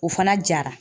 O fana jara